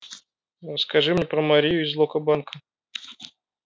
ну скажи мне про марию из локо-банка